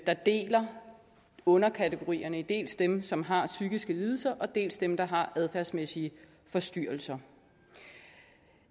der deler underkategorierne i dels dem som har psykiske lidelser dels dem der har adfærdsmæssige forstyrrelser